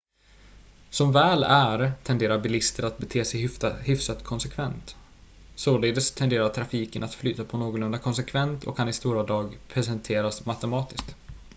som väl är tenderar bilister att bete sig hyfsat konsekvent således tenderar trafiken att flyta på någorlunda konsekvent och kan i stora drag presenteras matematiskt